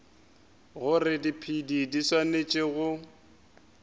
gore diphedi di swanetše go